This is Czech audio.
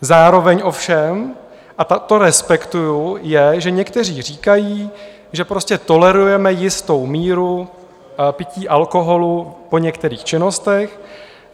Zároveň ovšem, a to respektuji, je, že někteří říkají, že prostě tolerujeme jistou míru pití alkoholu po některých činnostech.